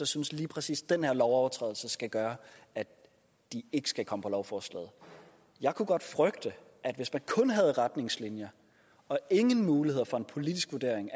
synes at lige præcis den lovovertrædelse skal gøre at de ikke skal komme på lovforslaget jeg kunne godt frygte at hvis man kun havde retningslinjer og ingen muligheder for en politisk vurdering